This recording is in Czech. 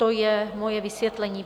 To je moje vysvětlení.